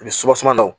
Ni dɔ